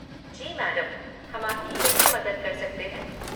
जी madam, हम आपकी कैसे मदद कर सकते हैं?